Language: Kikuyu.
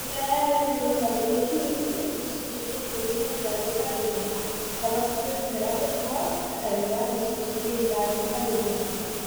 Mĩmera yarĩ mĩũru makĩria Kilifi (gĩcunjĩ gĩa ikũmi na ithano harĩ igana) na hakuhĩ mĩmera gũkua Tana River (gĩcunjĩ gĩa ithano harĩ igana)